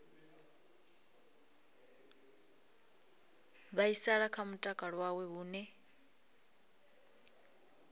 vhaisala kha mutakalo wawe hune